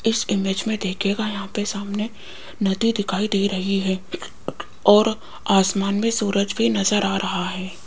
इस इमेज में देखियेगा यहां पर सामने नदी दिखाई दे रही है और आसमान में सूरज भी नजर आ रहा है।